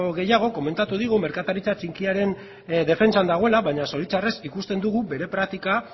gehiago komentatu digu merkataritza txikiaren defentsan dagoela baina zoritxarrez ikusten dugu bere praktika